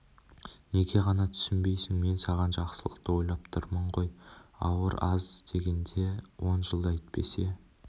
неге ғана түсінбейсің мен саған жақсылық ойлап тұрмын ғой ауыр аз дегенде он жыл әйтпесе